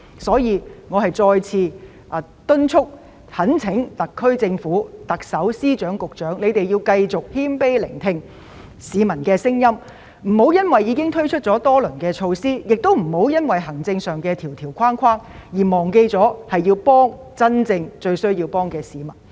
所以，我再次敦促及懇請特區政府、特首、司長及局長，請繼續謙卑聆聽市民的聲音，不要因為已經推出多輪措施，也不要礙於行政上的框條而忘記應該幫助真正需要幫助的市民。